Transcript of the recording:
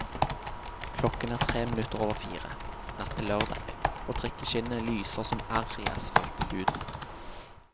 Klokken er tre minutter over fire, natt til lørdag, og trikkeskinnene lyser som arr i asfalthuden.